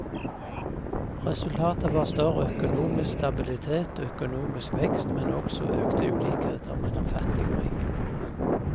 Resultatet var større økonomisk stabilitet og økonomisk vekst, men også økte ulikheter mellom fattig og rik.